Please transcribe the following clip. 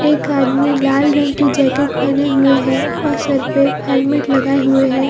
एक आदमी लाल रंग की जैकेट पेहने हुए है और सर पे हेल्मट लगाए हुए है ।